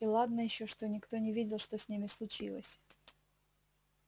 и ладно ещё что никто не видел что с ними случилось